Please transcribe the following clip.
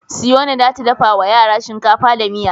Siyona za ta dafa wa yara shinkafa da miya.